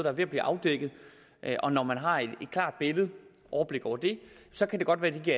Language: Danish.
er ved at blive afdækket og når man har et klart billede af overblik over det så kan det godt være at det